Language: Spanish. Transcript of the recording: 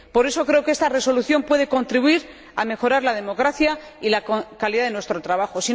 Por eso, creo que esta Resolución puede contribuir a mejorar la democracia y la calidad de nuestro trabajo.